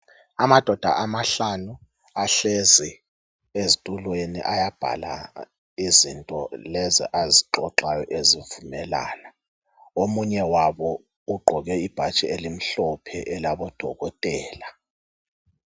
Amadoda amahlanu ahlezi ezitulweni ayabhala izinto lezi azixoxayo ngelanga. Omunye wabo ugqoke ibhatshi elimhlophe elabodokotela.